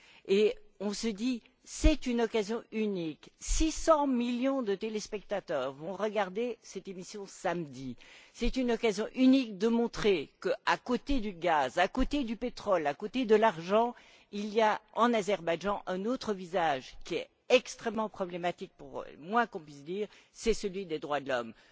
Et on s'est dit que c'était une occasion unique 600 millions de téléspectateurs vont regarder cette émission samedi. C'est une occasion unique de montrer que, à côté du gaz, à côté du pétrole, à côté de l'argent, il y a, en Azerbaïdjan, un autre aspect qui est extrêmement problématique c'est le moins que l'on puisse dire à savoir celui des droits de l'homme.